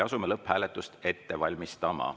Asume lõpphääletust ette valmistama.